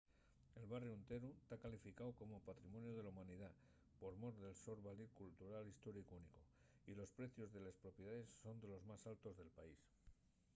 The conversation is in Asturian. el barriu enteru ta calificáu como patrimoniu de la humanidá por mor del so valir cultural y históricu únicu y los precios de les propiedaes son de los más altos del país